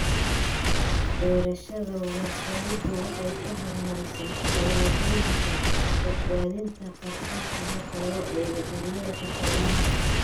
Beerashada warshaduhu waxay ka hormarisaa tallaabooyinka badbaadinta kharashka marka loo eego daryeelka xoolaha.